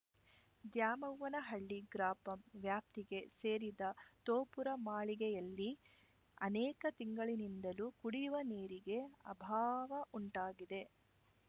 ದ್ಯಾಮವ್ವನಹಳ್ಳಿ ಗ್ರಾಪಂ ವ್ಯಾಪ್ತಿಗೆ ಸೇರಿದ ತೋಪುರಮಾಳಿಗೆಯಲ್ಲಿ ಅನೇಕ ತಿಂಗಳಿನಿಂದಲೂ ಕುಡಿಯುವ ನೀರಿಗೆ ಅಭಾವವುಂಟಾಗಿದೆ